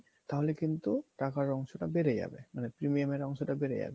তাহলে কিন্তু টাকার অংশ টা বেড়ে যাবে মানে premium এর অংশ টা বেড়ে যাবে